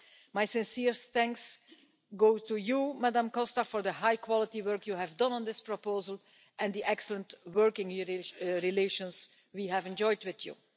My sincere thanks go to you, Ms Costa, for the high-quality work you have done on this proposal and the excellent working relations we have enjoyed with you.